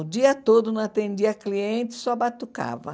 O dia todo não atendia cliente, só batucava.